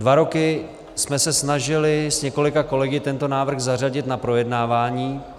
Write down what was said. Dva roky jsme se snažili s několika kolegy tento návrh zařadit na projednávání.